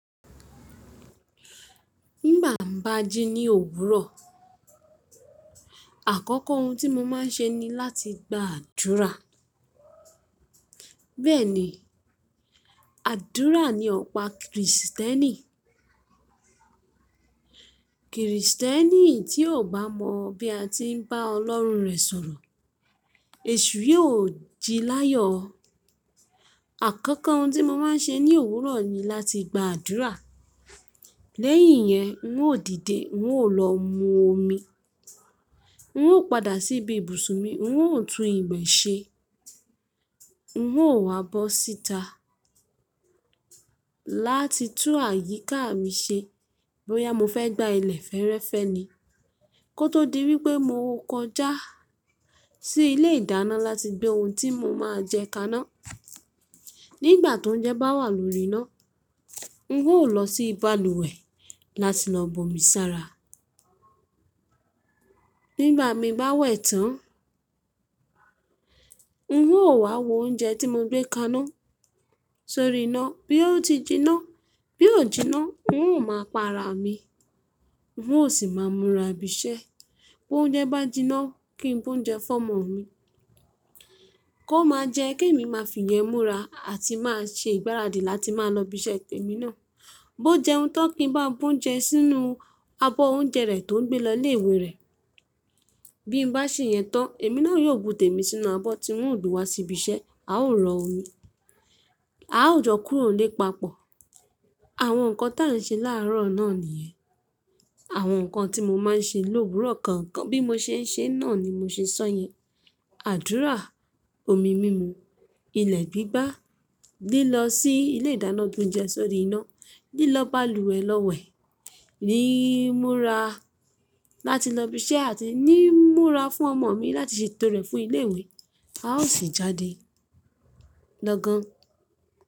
Nígbà ń bá jí ní òwúrọ̀, àkọ́kọ́ ohun tí mo máa ń ṣe ni láti gba àdúrà. Bẹ́ẹ̀ ni, àdúrà ni ọ̀pá Kristẹ́nì. Kristẹ́nì tí ò bá mọ̀ bí a ti ń bá Ọlọ́run rẹ̀ sọ̀rọ̀, èṣù yóò ji láyọ̀ ọ́. Àkọ́kọ́ ohun tí mo máa ń ṣe ní òwúrọ̀ ni láti gba àdúrà. Lẹ́yìn yẹn, n ó dìde, n ó lọ mu omi, n ó padà síbi ibùsùn mi, n ó tún ìbè ṣe, n ó wa bọ́ síta láti tún àyíká mi ṣe bóyá mo fẹ́ gbá ilẹ̀ fẹ́ẹ́rẹ́fẹ́ ni kó tó di wípé mo kọjá sí ilé ìdáná láti gbé ohun tí mo máa jẹ kaná. Nígbà tóuńjẹ bá wà lórí iná, n ó lọ sí balùwẹ̀ láti lọ bọmi sára. Nígbà mi bá wẹ̀ tán, n ó wá wo oúnjẹ tí mo gbé kaná sórí iná. Bí ó ti jiná, bí ò jiná, n ó máa pa ara mi, n ó sì máa múra bisẹ́. Bó ń jẹ bá jiná, kí n bú ń jẹ fún ọmọ mi, kó máa jẹ kí èmi máa fi ìyẹ́ múra àti máa ṣe ìgbáradì láti máa lọ ibi iṣẹ́ èmi náà. Bó jẹ́un tan kí n bá bú ouńjẹ sínú abọ́ oúnjẹ rẹ̀ tó ń gbé lọ ilé ìwé rẹ̀, bí n bá ṣe ìyẹn tán, èmi náà yóò bu tèmi sínú abọ́ tí n ó gbé wá sí ibi iṣẹ́, a ó rọ omi, a ó jọ kúrò nílé papọ̀. Àwọn nǹkan táà n ṣe láàárọ̀ náà nìyẹn. Àwọn nǹkan tí mo máa ń ṣe l'òwúrọ̀ kọ̀ọ̀kan bí mo ṣe ń ṣe náà ni mo ṣe sọ yẹn. Àdúrà, omi mímu, ilẹ̀ gbígbá, lílọ sí ilé ìdáná gb'ounjẹ sórí iná, lílọ balùwẹ̀ lọ wẹ̀, ní múra láti lọ ibi iṣẹ́ àti ní múra fún ọmọ mi láti ṣeto rẹ̀ fún ilé ìwé, a ó sì jáde lọ gan.